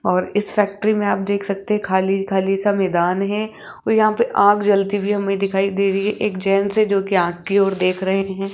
और इस फैक्ट्री में आप देख सकते खाली-खाली सा मैदान हैं और यहां पे आग जलती हुई हमें दिखाई दे रही है एक जेंट्स है जो की आग और देख रहे हैं।